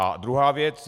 A druhá věc.